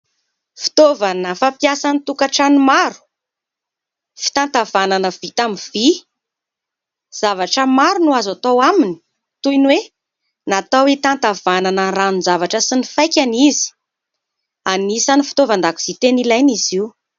Fitaovana fampiasa amin'ny tokantrano maro, fitantavanana vita amin'ny vy. Zavatra maro no azo atao aminy toy ny hoe natao hitantavanana ranon-javatra sy ny faikany izy. Anisan'ny fitaovan-dakozia tena ilaina izy io.